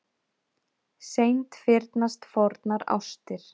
Seint fyrnast fornar ástir.